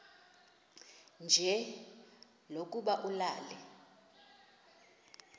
nje lokuba ulale